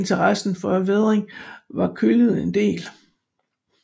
Interessen for vædring var kølnet en del